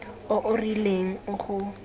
o o rileng o go